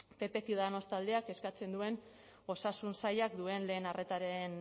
pp ciudadanos taldeak eskatzen duen osasun sailak duen lehen arretaren